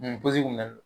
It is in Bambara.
N posi kun na